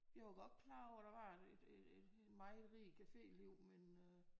Jeg var godt klar over at der var et en meget rig caféliv men øh